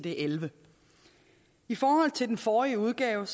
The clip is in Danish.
elleve i forhold til den forrige udgave